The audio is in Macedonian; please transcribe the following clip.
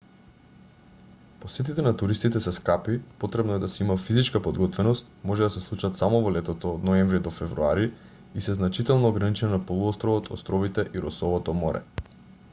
посетите на туристите се скапи потребно е да се има физичка подготвеност може да се случат само во летото од ноември до февруари и се значително ограничени на полуостровот островите и росовото море